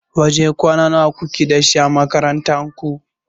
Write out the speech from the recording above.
Wajen kwana nawa kuke da shi a makarantar ku?